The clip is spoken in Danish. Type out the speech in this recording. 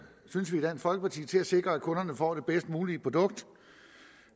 synes vi i dansk folkeparti til at sikre at kunderne får det bedst mulige produkt